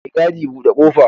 Mai gadi, bude ƙofa!